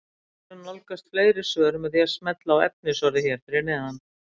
Hægt er að nálgast fleiri svör með því að smella á efnisorðið hér fyrir neðan.